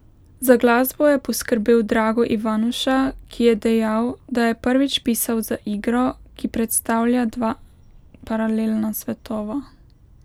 Za glasbo je poskrbel Drago Ivanuša, ki je dejal, da je prvič pisal za igro, ki predstavlja dva paralelna svetova.